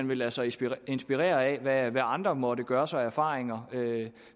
ville lade sig inspirere inspirere af hvad andre måtte gøre sig af erfaringer